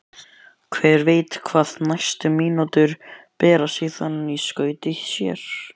Hver veit hvað næstu mínútur bera síðan í skauti sér?